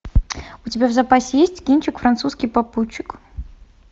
у тебя в запасе есть кинчик французский попутчик